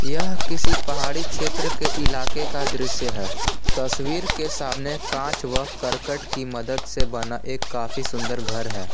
यह किसी पहाड़ी क्षेत्र के इलाके का दृश्य है तस्वीर के सामने कांच वह करकट की मदद से बना एक काफी सुंदर घर है।